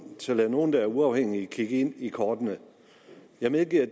tør lade nogen der er uafhængige kigge en i kortene jeg medgiver